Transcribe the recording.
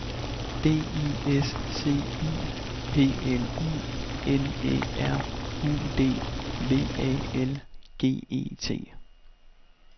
D I S C I P L I N Æ R U D V A L G E T